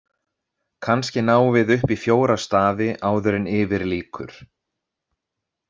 Kannski náum við upp í fjóra stafi áður en yfir lýkur.